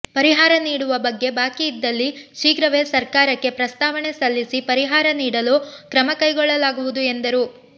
ಪರಿಹಾರ ನೀಡುವ ಬಗ್ಗೆ ಬಾಕಿ ಇದ್ದಲ್ಲಿ ಶೀಘ್ರವೇ ಸರ್ಕಾರಕ್ಕೆ ಪ್ರಸ್ತಾವಣೆ ಸಲ್ಲಿಸಿ ಪರಿಹಾರ ನೀಡಲು ಕ್ರಮಕೈಗೊಳ್ಳಲಾಗುವುದು ಎಂದರು